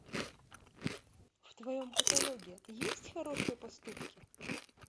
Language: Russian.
в твоем каталоге есть хорошие поступки